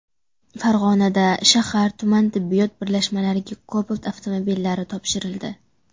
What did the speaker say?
Farg‘onada shahar-tuman tibbiyot birlashmalariga Cobalt avtomobillari topshirildi.